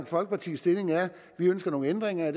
folkepartis stilling er vi ønsker nogle ændringer